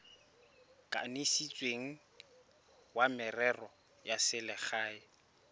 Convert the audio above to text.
kanisitsweng wa merero ya selegae